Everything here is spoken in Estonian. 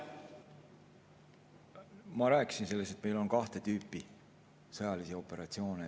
Ma rääkisin sellest, et meil on kahte tüüpi sõjalisi operatsioone.